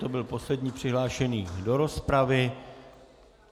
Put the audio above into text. To byl poslední přihlášený do rozpravy.